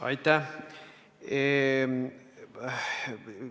Aitäh!